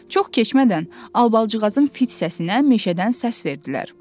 Çox keçmədən, Albalıcığazın fit səsinə meşədən səs verdilər.